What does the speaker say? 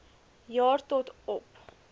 jaar tot op